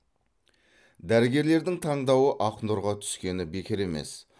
дәрігерлердің таңдауы ақнұрға түскені бекер емес